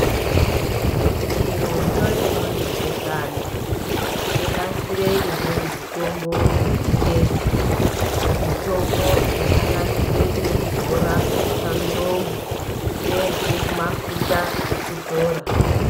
Chirocho chinonzi gehlani chonasire imweni mitombo yechingezi. Mitombo inosanganisire yekudzora pamiromo, ngeyemafufa ekudzora.